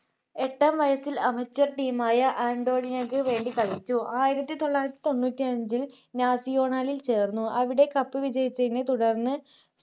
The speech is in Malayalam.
club പ്രേമിയായിട്ടാണ്‌ എട്ടാം വയസ്സിൽ amateur team യ ആന്റോണിയക്ക് വേണ്ടി കളിച്ചു ആയിരത്തി തൊള്ളായിരത്തി തൊണ്ണൂറ്റി അഞ്ചിൽ നാസിയോണലിൽ ചേർന്നു അവിടെ cup വിജയിച്ചതിനെത്തുടർന്ന്